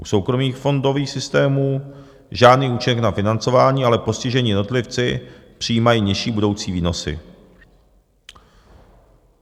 U soukromých fondových systémů - žádný účinek na financování, ale postižení jednotlivci přijímají nižší budoucí výnosy.